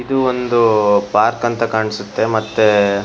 ಇದು ಒಂದೂ ಪಾರ್ಕ್ ಅಂತ ಕಾಣ್ಸುತ್ತೆ ಮತ್ತೆ --